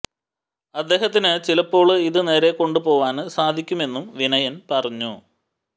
അദ്ദേഹത്തിന് ചിലപ്പോള് ഇത് നേരെ കൊണ്ട് പോവാന് സാധിക്കുമെന്നും വിനയൻ പറഞ്ഞു